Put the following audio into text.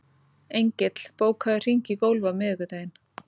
Engill, bókaðu hring í golf á miðvikudaginn.